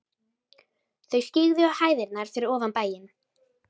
Þau skyggðu á hæðirnar fyrir ofan bæinn.